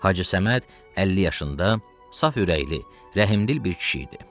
Hacı Səməd 50 yaşında saf ürəkli, rəhimdil bir kişi idi.